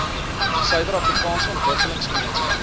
suider afrikaanse ontwikkelingsgemeenskap